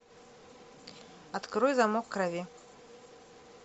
открой замок крови